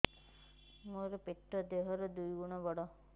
ମୋର ପେଟ ଦେହ ର ଦୁଇ ଗୁଣ ବଡ